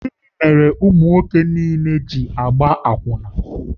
Gịnị mere ụmụ nwoke niile ji na-agba akwụna?